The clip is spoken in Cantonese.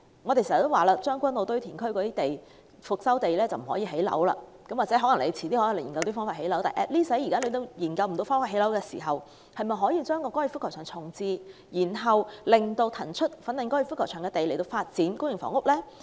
我們經常說，將軍澳堆填區的復修地不可以興建房屋，或許政府往後會有方法在那裏興建房屋，但現在政府仍未研究到方法興建房屋時，是否可以重置粉嶺高爾夫球場，以騰出的土地來發展公營房屋呢？